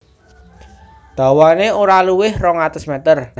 Dawané ora luwih rong atus meter